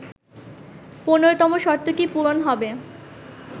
১৫তম শর্তটি পূরণ হবে